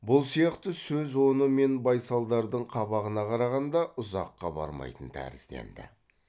бұл сияқты сөз оны мен байсалдардың қабағына қарағанда ұзаққа бармайтын тәрізденді